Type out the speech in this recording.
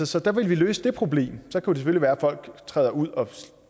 så der ville vi løse det problem så kunne det selvfølgelig være at folk træder ud og